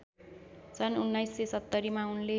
सन् १९७० मा उनले